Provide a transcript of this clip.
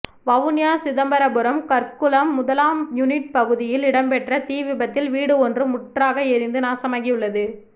வவுனியா சிதம்பரபுரம் கற்குளம் முதலாம் யுனிட் பகுதியில் இடம்பெற்ற தீ விபத்தில் வீடு ஒன்று முற்றாக எரிந்து நாசமாகியுள்ளது